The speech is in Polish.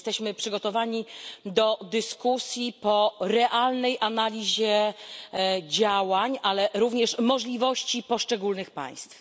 Czy jesteśmy przygotowani do dyskusji po realnej analizie działań, ale również możliwości poszczególnych państw?